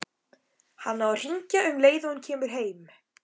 Hann á að hringja um leið og hann kemur heim.